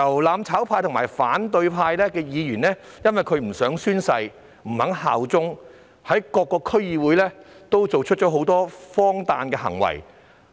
"攬炒派"及反對派的議員不欲宣誓、不肯效忠，更在各個區議會作出很多荒誕的行為。